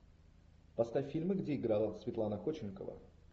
поставь фильмы где играла светлана ходченкова